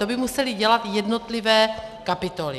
To by musely dělat jednotlivé kapitoly.